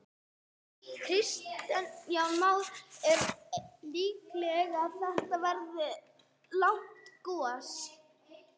Kristján Már: Er líklegt að þetta verði langt gos?